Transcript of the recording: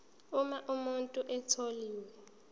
uma umuntu etholwe